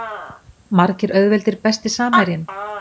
Margir auðveldir Besti samherjinn?